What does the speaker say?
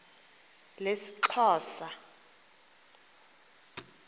lesixhosa